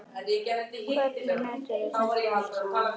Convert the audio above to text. Hvernig meturðu þetta allt saman?